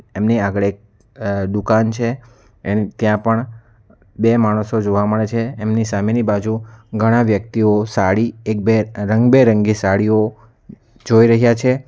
એમની આગળ એક દુકાન છે એને ત્યાં પણ બે માણસો જોવા મળે છે એમની સામેની બાજુ ઘણા વ્યક્તિઓ સાડી એક બે રંગબેરંગી સાડીઓ જોઈ રહ્યા છે.